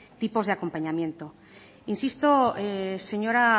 tipos de acompañamiento insisto señora